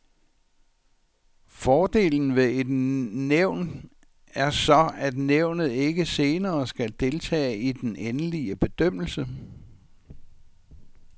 Fordelen ved et nævn er så, at nævnet ikke senere skal deltage i den endelige bedømmelse.